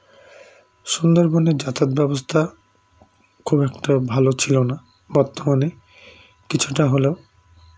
সুন্দরবনের যাতায়াত ব্যবস্থা খুব একটা ভালো ছিলোনা বর্তমানে কিছুটা হলেও